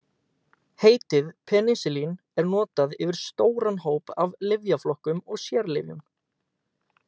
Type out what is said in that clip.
Heitið penisilín er notað yfir stóran hóp af lyfjaflokkum og sérlyfjum.